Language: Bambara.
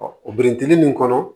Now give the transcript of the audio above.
o biriki nin kɔnɔ